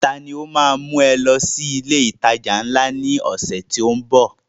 Ta ni ó ma mú ẹ lọ sí ilé ìtajà ńlá náà ní ọ̀sẹ̀ tó ń bọ̀?